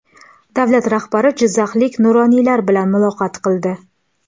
Davlat rahbari jizzaxlik nuroniylar bilan muloqot qildi.